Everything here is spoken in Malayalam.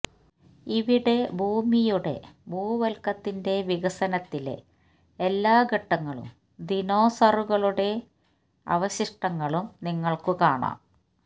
ഇവിടെ ഭൂമിയുടെ ഭൂവൽക്കത്തിന്റെ വികസനത്തിലെ എല്ലാ ഘട്ടങ്ങളും ദിനോസറുകളുടെ അവശിഷ്ടങ്ങളും നിങ്ങൾക്ക് കാണാം